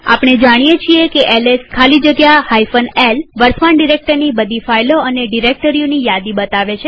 આપણે જાણીએ છીએ એલએસ ખાલી જગ્યા l વર્તમાન ડિરેક્ટરીની બધી ફાઈલો અને ડિરેક્ટરીઓની યાદી બતાવે છે